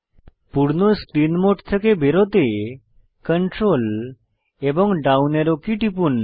পূর্ণ screen mode থেকে বেরোতে Ctrl এবং ডাউন অ্যারো কী টিপুন